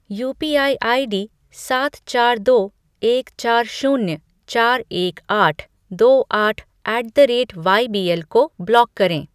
UPI ID सात चार दो एक चार शून्य चार एक आठ दो आठ ऐट द रेट वाईबीएल को ब्लॉक करें।